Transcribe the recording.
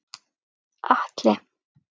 Atli